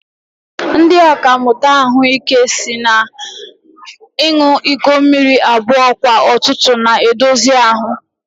Ndị ọkàmmụta ahụike si na ịṅụ iko mmiri abụọ kwa ụtụtụ na-edozi ahu